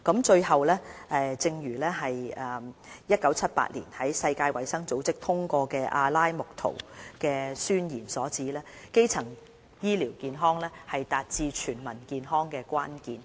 最後，正如1978年世界衞生組織通過的《阿拉木圖宣言》所指，基層醫療健康是達致"全民健康"的關鍵。